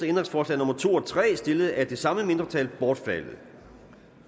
ændringsforslag nummer to og tre stillet af det samme mindretal bortfaldet